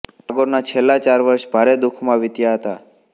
ટાગોરના છેલ્લા ચાર વર્ષે ભારે દુઃખમાં વિત્યા હતા